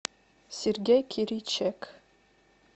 сергей киричек